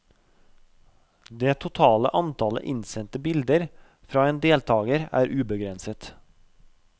Det totale antall innsendte bilder fra en deltaker er ubegrenset.